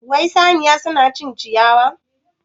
Wai saniya suna cin ciyawa?